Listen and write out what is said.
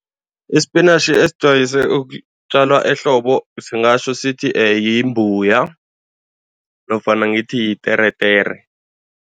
I-spinach esijwayeze ukutjalwa ehlobo singatjho sithi yimbuya nofana ngithi yiteretere.